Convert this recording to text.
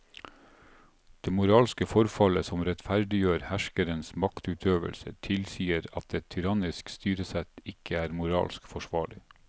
Det moralske formålet som rettferdiggjør herskerens maktutøvelse tilsier at et tyrannisk styresett ikke er moralsk forsvarlig.